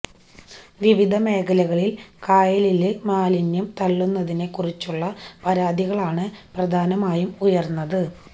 വിവിധ മേഖലകളില് കായലില് മാലിന്യം തള്ളുന്നതിനെക്കുറിച്ചുള്ള പരാതികളാണ് പ്രധാനമായും ഉയര്ന്നത്